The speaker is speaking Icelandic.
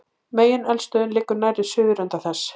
Megineldstöðin liggur nærri suðurenda þess.